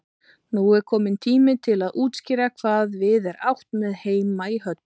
Nú er kominn tími til að útskýra hvað við er átt með heima í höll.